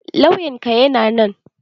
Lauyan ka na nan?